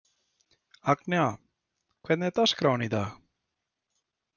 Agnea, hvernig er dagskráin í dag?